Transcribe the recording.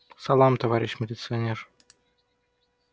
салам товарищ милиционер